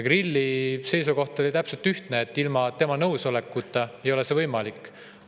Kirilli seisukoht oli, et ilma tema nõusolekuta ei ole see võimalik.